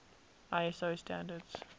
iso standards